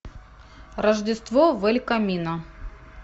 рождество в эль камино